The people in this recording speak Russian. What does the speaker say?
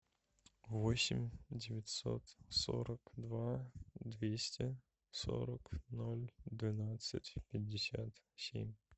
восемь девятьсот сорок два двести сорок ноль двенадцать пятьдесят семь